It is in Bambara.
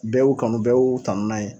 Bɛɛ y'u kanu, bɛɛ y'u tanu n'a ye.